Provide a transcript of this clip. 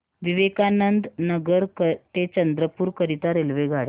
विवेकानंद नगर ते चंद्रपूर करीता रेल्वेगाड्या